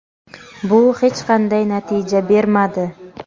bu hech qanday natija bermadi.